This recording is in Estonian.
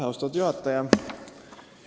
Austatud juhataja!